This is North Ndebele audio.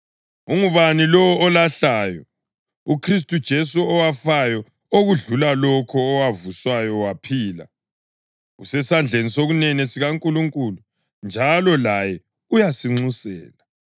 Ungubani lowo olahlayo? UKhristu Jesu owafayo, okudlula lokho, owavuswayo waphila, usesandleni sokunene sikaNkulunkulu njalo laye uyasinxusela.